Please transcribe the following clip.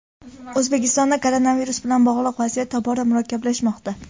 O‘zbekistonda koronavirus bilan bog‘liq vaziyat tobora murakkablashmoqda.